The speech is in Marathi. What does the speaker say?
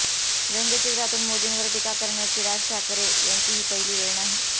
व्यंगचित्रातून मोदींवर टीका करण्याची राज ठाकरे यांची ही पहिली वेळ नाही